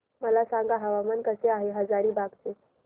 मला सांगा हवामान कसे आहे हजारीबाग चे